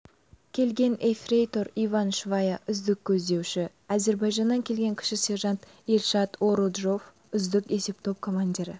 келген ефрейтор иван швая үздік көздеуші әзірбайжаннан келген кіші сержант эльшат оруджов үздік есептоп командирі